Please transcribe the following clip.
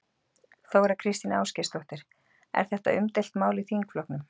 Þóra Kristín Ásgeirsdóttir: Er þetta umdeilt mál í þingflokknum?